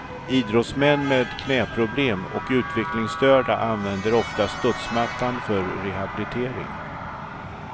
Idrottsmän med knäproblem och utvecklingsstörda använder ofta studsmattan för rehabilitering.